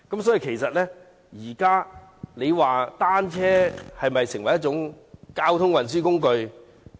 大家認為單車是否已成為交通運輸工具？